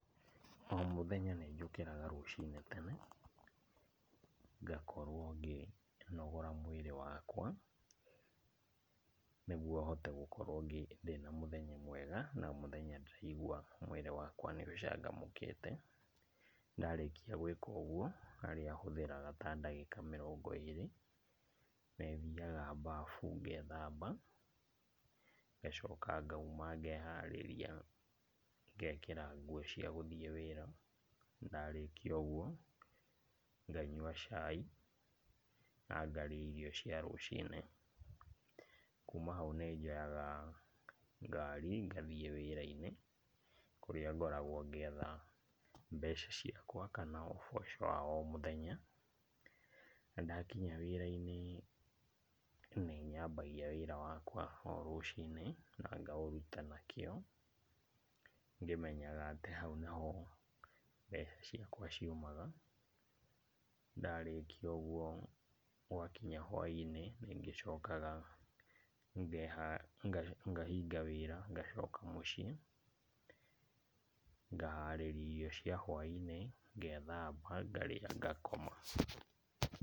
O mũthenya nĩnjũkĩraga rũcinĩ tene , ngakorwo ngĩnogora mwĩrĩ wakwa, nĩguo hote gũkorwo ngĩ, ndĩ na mũthenya mwega, na mũthenya ndĩraigua mwĩrĩ wakwa nĩũgĩcanjamũkĩte. Ndarĩkia gwĩka ũguo, harĩa hũthagĩra ta ndagĩka mĩrongo ĩrĩ, nĩthiaga mbabu ngethamba, ngacoka ngauma ngeharĩrĩa ngekĩra nguo cia gũthiĩ wĩra. Ndarĩkia ũguo nganyua chai na ngarĩa irio cia rũcinĩ. Kuma hau nĩnjoyaga ngari ngathiĩ wĩra-inĩ, kũrĩa ngoragwo ngĩetha mbeca ciakwa kana ũboco wa o mũthenya. Na ndakinya wira-inĩ nĩnyambagia wĩra wakwa o rũcinĩ na ngaũruta na kĩo, ngĩmenyaga atĩ hau nĩho mbeca ciakwa ciumaga. Ndarĩkia ũguo gũgakinya hwa-inĩ, nĩngĩcokaga ngeha, ngahinga wĩra ngacoka mũciĩ ngaharĩria irio cia hwa-inĩ, ngethamba, ngarĩa ngakoma.